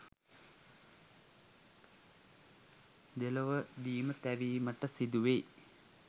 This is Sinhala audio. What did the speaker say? දෙලොවදීම තැවීමට සිදුවෙයි.